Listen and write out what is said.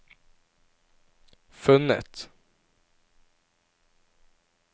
funnet